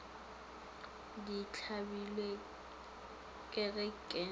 ke tlabilwe ke ge ke